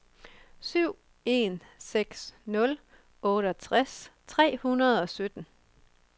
syv en seks nul otteogtres tre hundrede og sytten